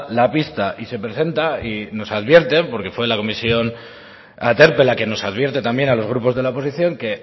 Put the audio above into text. la pista y nos advierten porque fue la comisión aterpe la que nos advierte también a los grupos de la oposición que